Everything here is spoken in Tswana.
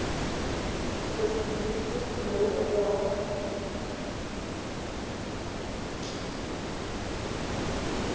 se se tlileng go tsewa